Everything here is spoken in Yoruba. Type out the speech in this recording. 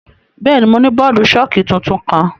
Bẹẹni, Mo ni bọọdu-ṣọki tuntun kan.